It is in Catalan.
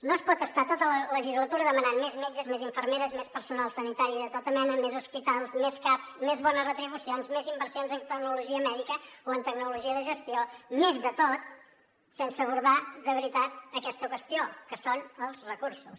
no es pot estar tota la legislatura demanant més metges més infermeres més personal sanitari de tota mena més hospitals més caps més bones retribucions més inversions en tecnologia mèdica o en tecnologia de gestió més de tot sense abordar de veritat aquesta qüestió que són els recursos